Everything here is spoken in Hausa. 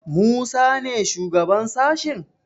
Musa ne shugaban sashen?